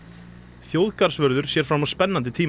þjóðgarðsvörður sér fram á spennandi tíma